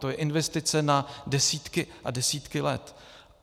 To je investice na desítky a desítky let.